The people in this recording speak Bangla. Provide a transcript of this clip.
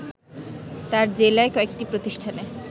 তার জেলায় কয়েকটি প্রতিষ্ঠানে